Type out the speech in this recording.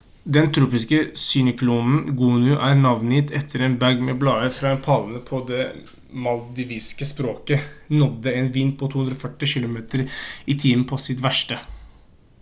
den tropiske syklonen gonu som er navngitt etter en bag med blader fra en palme på det maldiviske språket nådde en vind på 240 km i timen på sitt verste